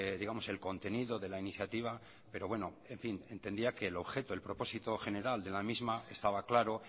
digamos el contenido de la iniciativa pero bueno en fin entendía que el objeto el propósito general de la misma estaba claro